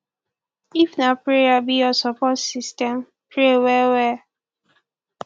if na prayer be yur sopport system pray well well